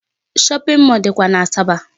Shopping mall dịkwa n'Asaba.